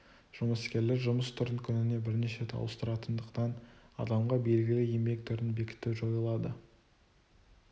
жұмыскерлер жұмыс түрін күніне бірнеше рет ауыстыратындықтан адамға белгілі еңбек түрін бекіту жойылады